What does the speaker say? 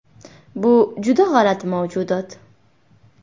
Bu juda g‘alati mavjudot.